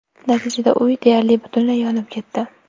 Natijada uy deyarli butunlay yonib ketdi.